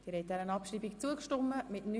Sie haben der Abschreibung zugestimmt.